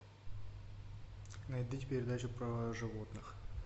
найдите передачу про животных